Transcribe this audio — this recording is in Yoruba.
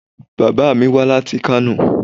Bàbá mi wá láti Kano.